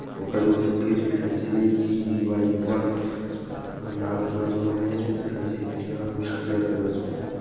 ओकर निसु फेर लिखाइसे जी वाई एम ओहा लाल कलर मे हे दिखाइसे तेहा अऊ पियर कलर मे--